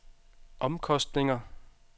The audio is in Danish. omkostninger